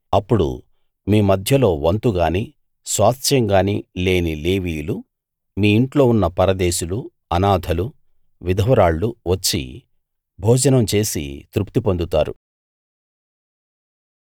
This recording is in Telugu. అప్పుడు మీ మధ్యలో వంతు గాని స్వాస్థ్యం గాని లేని లేవీయులు మీ ఇంట్లో ఉన్న పరదేశులు అనాథలు విధవరాళ్ళు వచ్చి భోజనం చేసి తృప్తి పొందుతారు